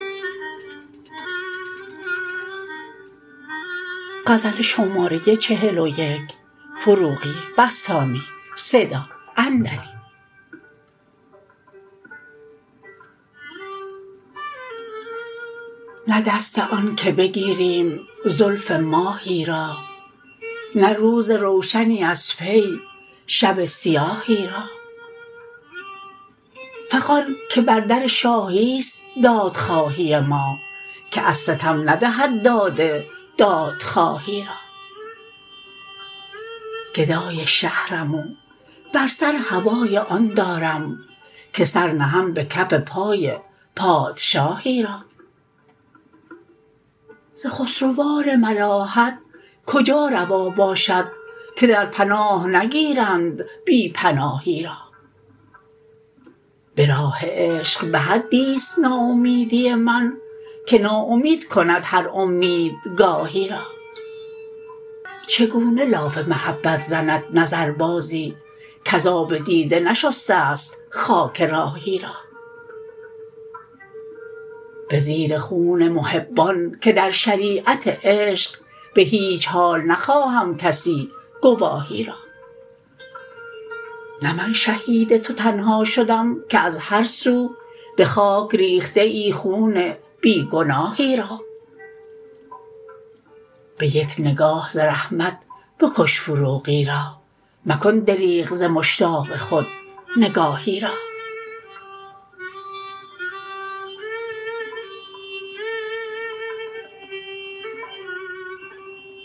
نه دست آن که بگیریم زلف ماهی را نه روز روشنی از پی شب سیاهی را فغان که بر در شاهی است دادخواهی ما که از ستم ندهد داد دادخواهی را گدای شهرم و بر سر هوای آن دارم که سر نهم به کف پای پادشاهی را ز خسروان ملاحت کجا روا باشد که در پناه نگیرند بی پناهی را به راه عشق به حدی است ناامیدی من که نا امید کند هر امید گاهی را چگونه لاف محبت زند نظر بازی کز آب دیده نشسته ست خاک راهی را بزیر خون محبان که در شریعت عشق به هیچ حال نخواهم کسی گواهی را نه من شهید تو تنها شدم که از هر سو به خاک ریخته ای خون بی گناهی را به یک نگاه ز رحمت بکش فروغی را مکن دریغ ز مشتاق خود نگاهی را